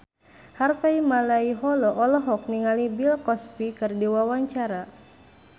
Harvey Malaiholo olohok ningali Bill Cosby keur diwawancara